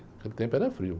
Naquele tempo era frio.